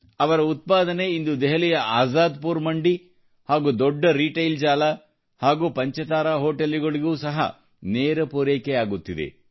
ಅವರ ಉತ್ಪಾದನೆ ಇಂದು ದೆಹಲಿಯ ಅeóÁದ್ಪುರ ಮಂಡಿ ಹಾಗೂ ದೊಡ್ಡ ರೀಟೈಲ್ ಜಾಲ ಹಾಗೂ ಪಂಚತಾರಾ ಹೋಟೆಲುಗಳಿಗೂ ಸಹ ನೇರ ಪೂರೈಕೆ ಆಗುತ್ತಿದೆ